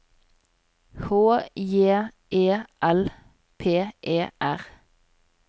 H J E L P E R